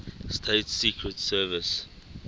states secret service